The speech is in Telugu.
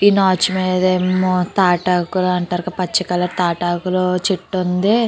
ఈ నాచు మీద ఏమో తాటాకులంటారు క పచ్చి కలర్ తాటాకులు చెట్టు ఉంది.